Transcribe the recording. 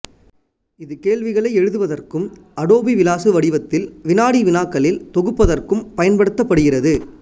இது கேள்விகளை எழுதுவதற்கும் அடோபி விளாசு வடிவத்தில் வினாடி வினாக்களில் தொகுப்பதற்கும் பயன்படுத்தப்படுகிறது